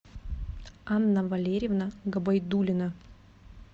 анна валерьевна габайдулина